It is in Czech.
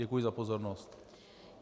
Děkuji za pozornost.